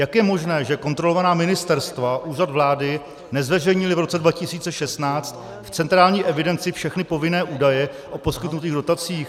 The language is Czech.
Jak je možné, že kontrolovaná ministerstva, Úřad vlády nezveřejnily v roce 2016 v centrální evidenci všechny povinné údaje o poskytnutých dotacích?